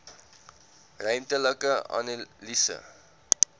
ruimtelike analise